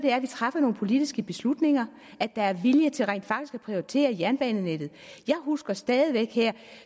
er at vi træffer nogle politiske beslutninger at der er vilje til rent faktisk at prioritere jernbanenettet jeg husker stadig væk her